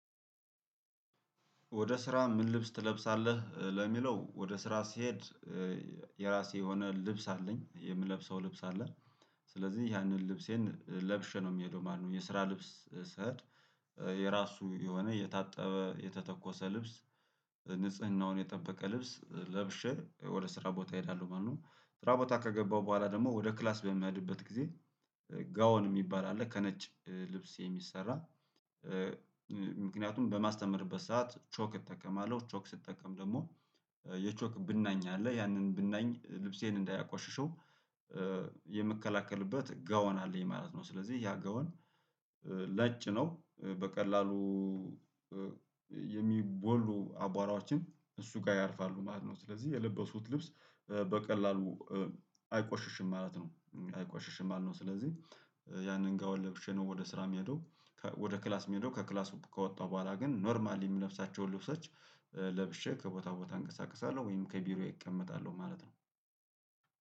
ወደ ስራ ምን? ልብስ ትለብሳለህ ለሚለው ወደ ስራ ስሄድ የራሴ የሆነ ልብስ አለኝ የምለብሰው ልብስ አለ። ስለዚህ ያንን ልብሴን ለብሼ ነው እምሄደው ማለት ነው የስራ ልብስ ስሄድ የራሱ የሆነ የታጠበ የተተኮሰ ልብስ ንጽህናውን የጠበቀ ልብስ ለብሼ ወደ ስራ ቦታ እሄዳለሁ ማለት ነው። ስራ ቦታ ከገባው በኋላ ደግሞ ወደ ክላስ በሚያድበት ጊዜ ጋውን እሚባል አለ ከነጭ ልብስ የሚሰራ ምክንያቱም በማስተምርበት ሰዓት ቾክ እጠቀማለሁ ቾክ ስጠቀም ደግሞ የቾክ ብናኝ አለ ያንን ብናኝ ልብሴን እንዳያቆሽሸው የምከላከልበት ጋውን አለኝ ማለት ነው። ስለዚህ ያ ጋውን ነጭ ነው በቀላሉ የሚቦሉ አቧራዎችን እሱ ጋር ያርፋሉ ማለት ነው። ስለዚህ የልበስኩት ልብስ በቀላሉ አይቆሽሽም ማለት ነው አይቆሽሽም ማለት ነው። ስለዚህ ያንን ጋውን ለብሼ ነው ወደ ስራ እምሄደው ወደ ክላስ እምሄደው ከክላስ ከወጣሁ በኋላ ግን ኖርማሊ እምለብሳቸውን ልብሶች ለብሼ ከቦታ ቦታ እንቀሳቀሳለሁ ወይም ከቢሮዬ እቀመጣለሁ ማለት ነው።